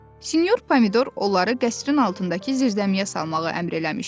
Sinyor Pomidor onları qəsrin altındakı zirzəmiyə salmağı əmr eləmişdi.